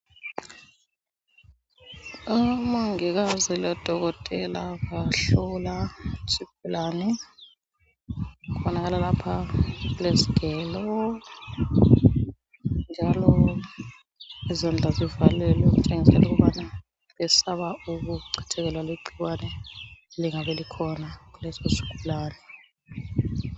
Omongikazi lodokotela bahlola isigulane. Kubonakala lapha kulezgelo, njalo izandla zivalelwe okutshengisela ukubana besaba ukuchithekelwa ligcikwane elingabe likhona kuleso sgulane.